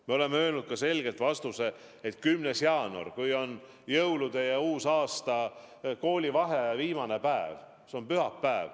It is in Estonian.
Me oleme öelnud selgelt, et 10. jaanuar, mis on jõulude ja uusaasta koolivaheaja viimane päev, on lõpptähtaeg.